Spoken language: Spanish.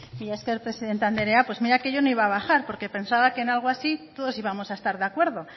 mila esker presidente andrea pues mira que yo no iba a bajar porque pensaba que en algo así todos íbamos a estar de acuerdo